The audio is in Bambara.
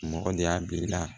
Mɔgɔ de y'a bil'i la